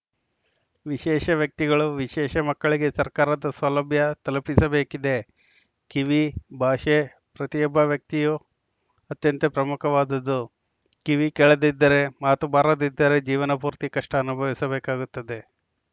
ವಿಶೇಷ ವ್ಯಕ್ತಿಗಳು ವಿಶೇಷ ಮಕ್ಕಳಿಗೆ ಸರ್ಕಾರದ ಸೌಲಭ್ಯ ತಲುಪಿಸಬೇಕಿದೆ ಕಿವಿ ಭಾಷೆ ಪ್ರತಿಯೊಬ್ಬ ವ್ಯಕ್ತಿಯೂ ಅತ್ಯಂತ ಪ್ರಮುಖವಾದುದು ಕಿವಿ ಕೇಳದಿದ್ದರೆ ಮಾತು ಬಾರದಿದ್ದರೆ ಜೀವನ ಪೂರ್ತಿ ಕಷ್ಟಅನುಭವಿಸಬೇಕಾಗುತ್ತದೆ